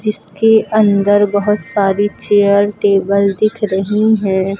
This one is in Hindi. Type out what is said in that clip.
इसके अंदर बहुत सारी चेयर टेबल दिख रही है।